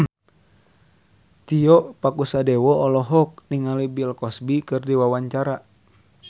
Tio Pakusadewo olohok ningali Bill Cosby keur diwawancara